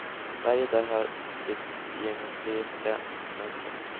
Varje dörr har sitt geometriska mönster.